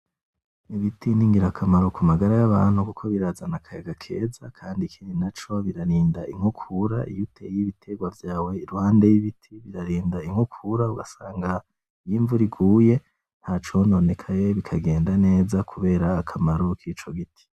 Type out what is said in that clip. Ibiti ni ngira kamaro kumagara yabantu kuko birazana akayaga keza, kandi ikindi naco birarinda inkukura iyo uteye ibitegwa vyawe iruhande y'ibiti birarinda inkukura ugasanga iyo imvura iguye ntacononekaye bikagenda neza kubera akamaro kico giti.